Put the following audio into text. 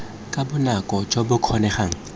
ka bonako jo bo kgonegang